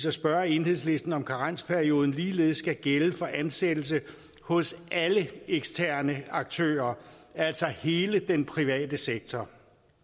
at spørge enhedslisten om karensperioden ligeledes skal gælde for ansættelse hos alle eksterne aktører altså hele den private sektor